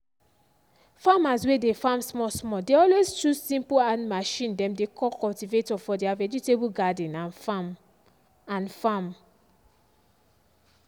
farmers way dey farm small small dey alway chose simple hand machine dem dey call cultivator for their vegetable garden and farm. and farm.